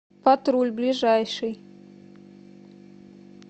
патруль ближайший